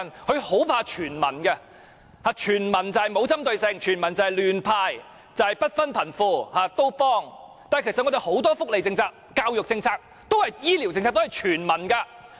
"林鄭"很怕"全民"，全民就是沒有針對性、亂"派錢"、不分貧富、全部幫忙，但其實我們很多福利政策、教育政策、醫療政策，都是全民的。